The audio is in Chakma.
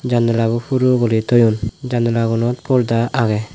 janalabo hulo gori toyon janalabot porda agey.